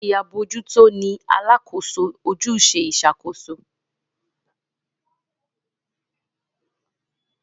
Olórí abojuto ní Alákóso ojúṣe Ìṣàkóso